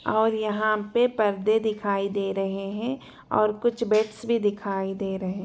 और यहाँ पे पर्दे दिखाई दे रहे हैं और कुछ बेड्स भी दिखाई दे रहे--